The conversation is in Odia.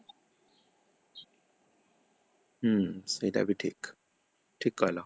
ହୁଁ ସେଇଟାବି ଠିକ, ଠିକ କହିଲ